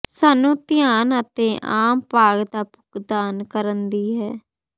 ਸਾਨੂੰ ਧਿਆਨ ਅਤੇ ਆਮ ਭਾਗ ਦਾ ਭੁਗਤਾਨ ਕਰਨ ਦੀ ਹੈ